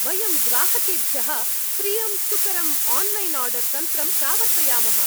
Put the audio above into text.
वयं ग्राहकेभ्यः प्रियं सुकरम् आन्लैन् आर्डर् तन्त्रं प्रावर्तयामः।